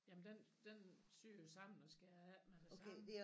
Jamen den den syer jo sammen og skærer af med det samme